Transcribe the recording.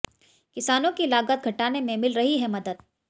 किसानों की लागत घटाने में मिल रही है मदद